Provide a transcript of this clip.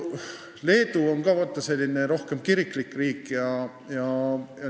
Leedu on ka selline rohkem kiriklik riik.